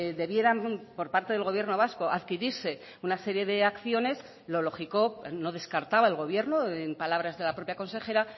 debieran por parte del gobierno vasco adquirirse una serie de acciones lo lógico no descartaba el gobierno en palabras de la propia consejera